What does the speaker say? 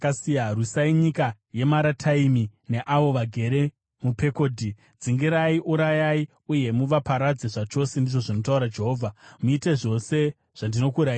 “Rwisai nyika yeMarataimi neavo vagere muPekodhi. Dzingirirai, urayai uye muvaparadze zvachose,” ndizvo zvinotaura Jehovha. “Muite zvose zvandakurayirai.